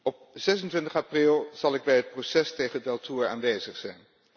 Op 26 april zal ik bij het proces tegen Deltour aanwezig zijn.